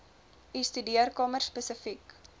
u studeerkamer spesifiek